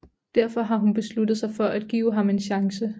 Derfor har hun besluttet sig for at give ham en chance